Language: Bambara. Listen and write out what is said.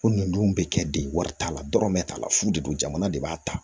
Ko nunnu dun bɛ kɛ de wari t'a la dɔrɔn bɛɛ t'a la fu de don jamana de b'a ta